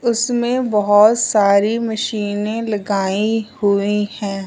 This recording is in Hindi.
उसमे बहोत सारी मशीने लगाई हुई है।